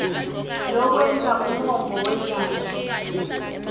lokwenta umongo wendzaba